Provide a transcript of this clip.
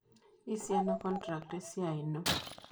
Isiana contract esiai ino?